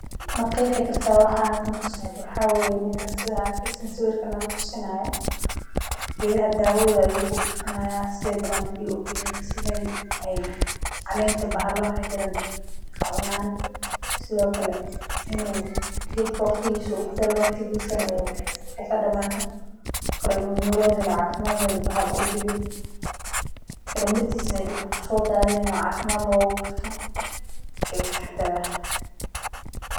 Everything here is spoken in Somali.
Ma qeexi kartaa waxa halkan ka socda, waxaa weye nikan sidha arkeysin sawirkan nala tusini hayo, geedaha dawadotha ayu ku bufini haya sithe balan bulya ee u galin, ee calenta bahala maxaa jiran ee kacunan, sithokale in u geedka waqtigisa u ku dalo waqtigisa u ka damato, koley in u nolol helo cafiimaad lo bahal u diwin, mirtisa in ee dulka ku sodathanin oo cafimaad logu gurto, ayu kataxadari haya.